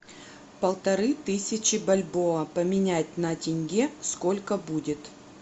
полторы тысячи бальбоа поменять на тенге сколько будет